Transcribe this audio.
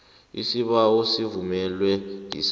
isibawo sivunywe yisars